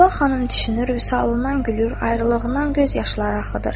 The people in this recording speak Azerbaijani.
Səbah xanım düşünür, vüsalından gülür, ayrılığından gözyaşları axıdır.